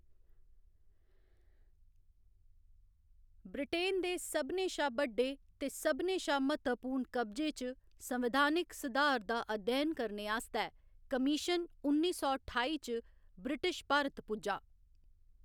Britain दे सभनें शा बड्डे ते सभनें शा म्हत्तवपूर्ण कब्जे च संविधानक सधार दा अध्ययन करने आस्तै कमीशन उन्नी सौ ठाई च ब्रिटिश भारत पुज्जा।